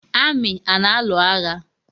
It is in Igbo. Amị a na alụ agha?